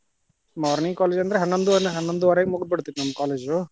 Morning college ಅಂದ್ರ ಹನ್ನೊಂದು ಹನ್ನೊಂದುವರೆಗೆ ಮುಗ್ದಬಿಡ್ತಿತ್ತ ನಮ್ಮ್ college .